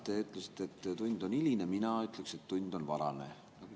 Te ütlesite, et tund on hiline, mina ütleksin, et tund on varane.